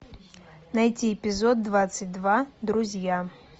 найти эпизод двадцать два друзья